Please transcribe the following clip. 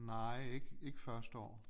Nej ikke ikke første år